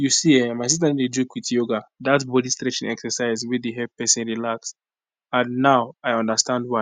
you see[um]my sister no dey joke with yoga that bodystretching exercise wey dey help person relax and now i understand why